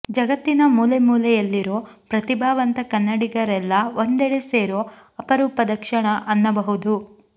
ಜಗತ್ತಿನ ಮೂಲೆ ಮೂಲೆಯಲ್ಲಿರೋ ಪ್ರತಿಭಾವಂತ ಕನ್ನಡಿಗರೆಲ್ಲ ಒಂದೆಡೆ ಸೇರೊ ಅಪರೂಪದ ಕ್ಷಣ ಅನ್ನಬಹುದು